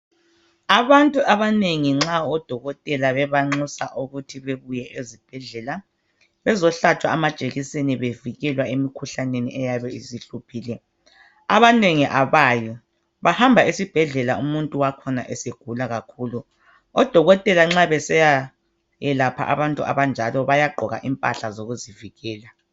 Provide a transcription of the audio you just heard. Abantu abanengi nxa odokotela bebanxusa ukuthi bebuye ezibhedlela bezohlatshwa amajekiseni bevikelwa emikhuhlaneni eyabe isihluphile abanengi abayi bahamba esibhedlela umuntu wakhona esegula kakhulu odokotela nxa besiyayelapha abantu abanjalo bayaqgoka impahla zokuzivikela